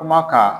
Kuma kan